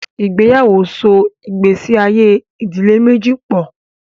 Ìgbéyàwó so ìgbésí ayé ìdílé méjì pọ̀.